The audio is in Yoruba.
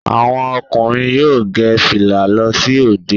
Àwọn ọkùnrin yóò gẹ fìlà lọ sí òde